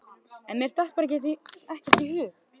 En mér datt bara ekkert í hug.